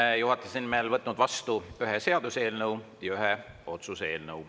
Olen juhatuse nimel võtnud vastu ühe seaduseelnõu ja ühe otsuse eelnõu.